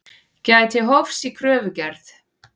Gæti hófs í kröfugerð